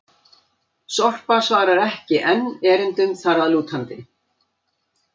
Sorpa svarar ekki enn erindum þar að lútandi!